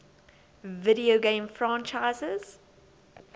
video game franchises